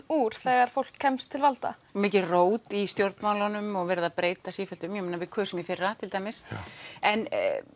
úr þegar fólk kemst til valda mikið rót í stjórnmálunum og verið að breyta í sífellu ég meina við kusum í fyrra til dæmis en